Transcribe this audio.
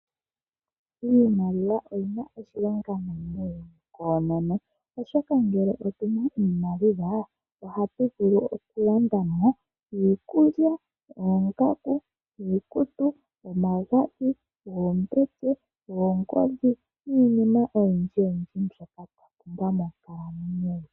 Iimaliwa oyina oshilonga moshilongo ashihe koono oshoka ngele otuna iimaliwa ohatu vulu okulandamo iikulya, oongaku, omagadhi, oombete, niinima oyindji.